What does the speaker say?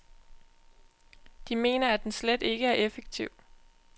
De mener, at den slet ikke er effektiv.